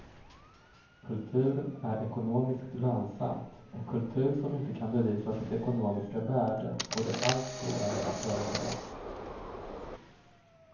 Kultur är ekonomiskt lönsamt och kultur som inte kan bevisa sitt ekonomiska värde får det allt svårare att överleva.